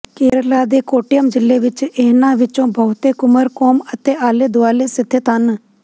ਕੇਰਲਾ ਦੇ ਕੋੱਟਯਮ ਜ਼ਿਲੇ ਵਿਚ ਇਹਨਾਂ ਵਿਚੋਂ ਬਹੁਤੇ ਕੁਮਰਕੋਂਮ ਅਤੇ ਆਲੇ ਦੁਆਲੇ ਸਥਿਤ ਹਨ